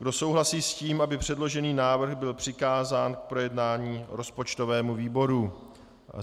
Kdo souhlasí s tím, aby předložený návrh byl přikázán k projednání rozpočtovému výboru?